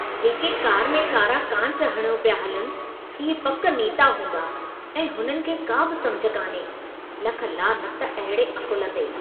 जेके कार में कारा कांच हणियो पिया हलनि, इहे पक नेता हूंदा ऐं हुननि खे का बि समुझ कान्हे। लख लानत अहिड़े अकुल ते!